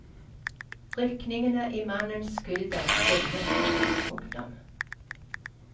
Rykningene i mannens skulder stilnet. punktum